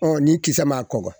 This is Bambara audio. ni kisɛ ma kɔkɔ